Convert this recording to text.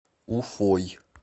уфой